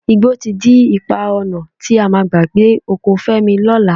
Igbó ti dí ipa ọnà tí a máa gbà dé oko Fẹ́mi lọ́la